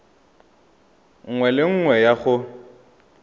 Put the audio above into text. nngwe le nngwe ya go